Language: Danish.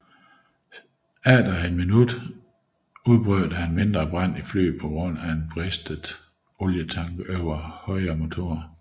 Cirka ét minut efter udbrød der en mindre brand i flyet på grund af en bristet olietank over højre motor